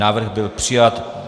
Návrh byl přijat.